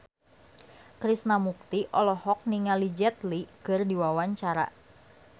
Krishna Mukti olohok ningali Jet Li keur diwawancara